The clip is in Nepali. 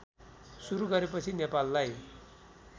सुरू गरेपछि नेपाललाई